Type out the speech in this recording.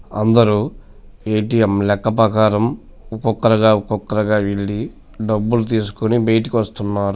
అందరూ ఏ_టీ_ఎం లెక్క ప్రకారం ఒక్కొక్కరుగా ఒక్కొక్కరుగా వెళ్లి డబ్బులు తీసుకుని బయటకు వస్తున్నారు.